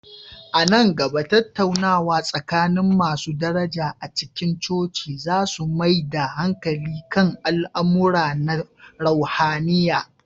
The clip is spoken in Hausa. A nan gaba, tattaunawa tsakanin masu daraja a cikin coci za su mai da hankali kan al'amura na ruhaniya.